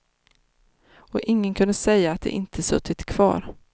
Och ingen kunde säga att de inte suttit kvar.